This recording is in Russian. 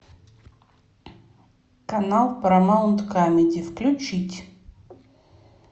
канал парамаунт камеди включить